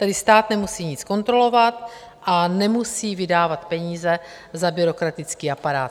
Tedy stát nemusí nic kontrolovat a nemusí vydávat peníze za byrokratický aparát.